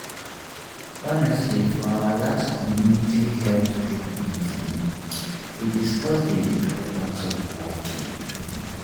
honestly for our last community health group meeting we discuss the importance of walking.